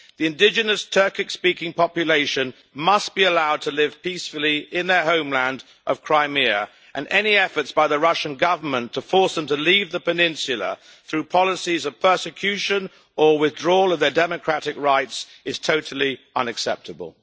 The indigenous Turkic speaking population must be allowed to live peacefully in their homeland of Crimea, and any efforts by the Russian Government to force them to leave the peninsula through policies of persecution or withdrawal of their democratic rights is totally unacceptable.